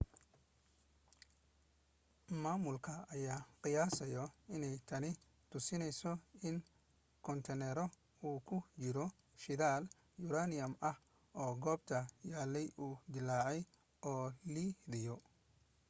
maamulka ayaa qiyaasaya inay tani tusinayso in koontiinaro uu ku jiro shidaal yuraaniyam ah oo goobta yaallay uu dillaacay oo liidayo